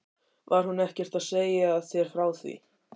Var hún ekkert að segja þér frá því?